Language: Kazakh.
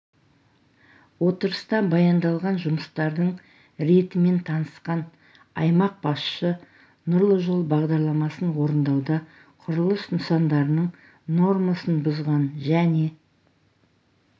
отырыста баяндалған жұмыстардың ретімен танысқан аймақ басшысы нұрлы жол бағдарламасын орындауда құрылыс нысандарының нормасын бұзған және